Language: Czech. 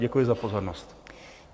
Děkuji za pozornost.